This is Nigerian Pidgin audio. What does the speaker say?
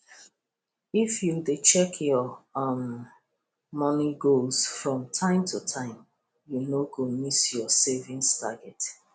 if you dey check your um money goals from time to time you no go miss your savings target